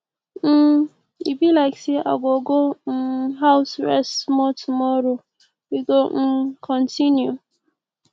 um e be like say i go go um house rest small tomorrow we go um continue